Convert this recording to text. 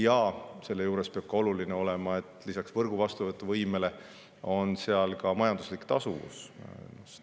Ja selle juures on oluline, et lisaks võrgu vastuvõtuvõimele oleks see ka majanduslikult tasuv.